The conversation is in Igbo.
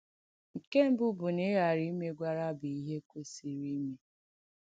Nkè mbù bụ̀ na ìghàrà ìmègwàrà bụ̀ ìhé kwèsìrì ìmè.